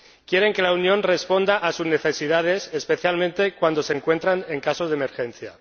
quieren que la Unión responda a sus necesidades, especialmente cuando se encuentran en caso de emergencia.